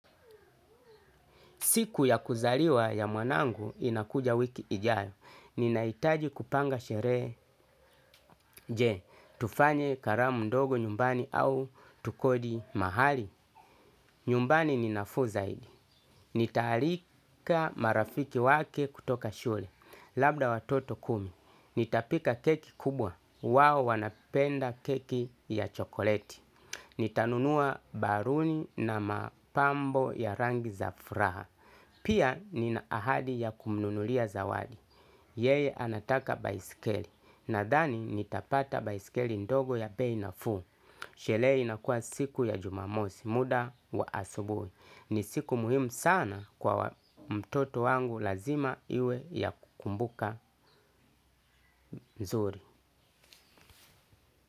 Siku ya kuzaliwa ya mwanangu inakuja wiki ijayo. Ninaitaji kupanga sheree je. Tufanye karamu ndogo nyumbani au tukodi mahali. Nyumbani ni nafuu zaidi. Nitaalika marafiki wake kutoka shule. Labda watoto kumi. Nitapika keki kubwa. Wao wanapenda keki ya chokoleti. Nitanunua baruni na mapambo ya rangi za fraha. Pia nina ahadi ya kumnunulia zawadi. Yeye anataka baiskeli. Nadhani nitapata baiskeli ndogo ya bei nafuu. Shele inakua siku ya jumamosi muda wa asubui. Ni siku muhimu sana kwa mtoto wangu lazima iwe ya kukumbuka nzuri.